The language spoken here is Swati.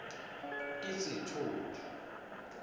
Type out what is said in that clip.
tisitfupha